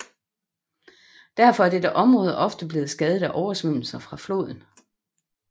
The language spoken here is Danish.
Derfor er dette område ofte blevet skadet af oversvømmelser fra floden